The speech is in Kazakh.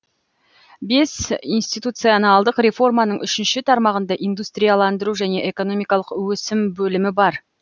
бес институционалдық реформаның үшінші тармағында индустрияландыру және экономикалық өсім бөлімі бар